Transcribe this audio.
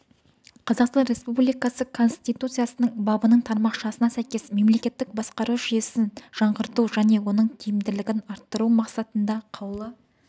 қазақстан республикасы конституциясының бабының тармақшасына сәйкес мемлекеттік басқару жүйесін жаңғырту және оның тиімділігін арттыру мақсатында қаулы